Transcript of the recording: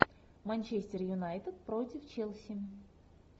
манчестер юнайтед против челси